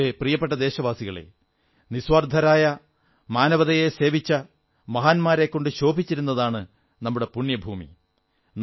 എന്റെ പ്രിയപ്പെട്ട ദേശവാസികളേ മാനവികതയെ നിസ്വാർഥമായി സേവിച്ച മഹാന്മാരെക്കൊണ്ട് ശോഭിച്ചിരുന്നതാണു നമ്മുടെ പുണ്യഭൂമി